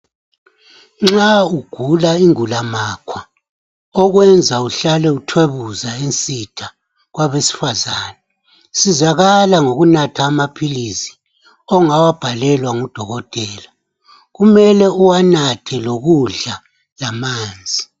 nxa ugula ingula makhwa okwenza uhlale uthwebuza ensitha kwabesifazane sizakala ngokunatha amaphilisi ongawabhalelwa ngudokotela ,kumele uwanathe lokudla lamanzi